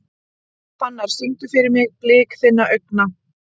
Fannar, syngdu fyrir mig „Blik þinna augna“.